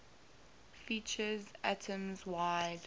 features atoms wide